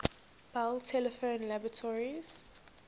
bell telephone laboratories